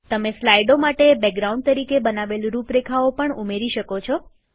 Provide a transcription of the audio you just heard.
તમે સ્લાઈડો માટે બેકગ્રાઉન્ડ તરીકે બનાવેલ રૂપરેખાઓ પણ ઉમેરી શકો છો